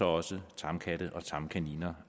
også tamkatte og tamkaniner